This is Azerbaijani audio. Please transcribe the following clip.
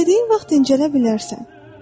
İstədiyin vaxt dincələ bilərsən.